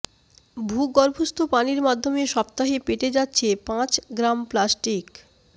ভূগর্ভস্থ পানির মাধ্যমে সপ্তাহে পেটে যাচ্ছে পাঁচ গ্রাম প্লাস্টিক